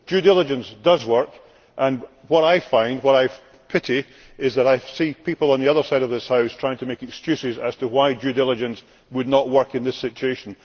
Due diligence does indeed work. What I find, what I pity, is that people on the other side of this House are trying to make excuses as to why due diligence would not work in this situation.